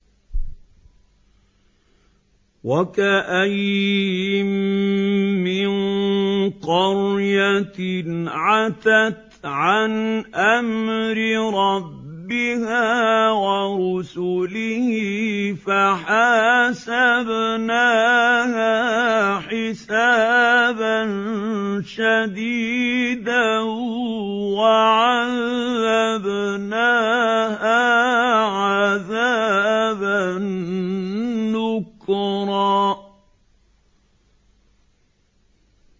وَكَأَيِّن مِّن قَرْيَةٍ عَتَتْ عَنْ أَمْرِ رَبِّهَا وَرُسُلِهِ فَحَاسَبْنَاهَا حِسَابًا شَدِيدًا وَعَذَّبْنَاهَا عَذَابًا نُّكْرًا